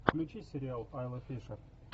включи сериал айла фишер